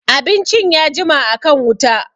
Abincin ya jima a kan wuta